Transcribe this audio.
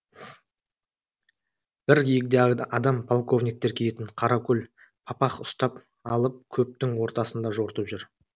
бір егде адам полковниктер киетін қаракөл папах ұстап алып көптің ортасында жортып жүр